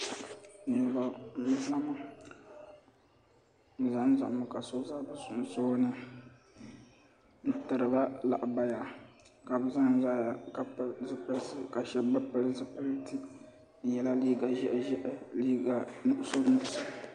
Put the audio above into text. Niriba ni zama bi za n zami ka so za bi sunsuuni n tiri ba lahabaya ka bi za n zaya ka pili zipilisi ka shɛba bi pili zipiliti bi yɛla liiga ʒiɛhi ʒiɛhi ni liiga nuɣusu nuɣusu.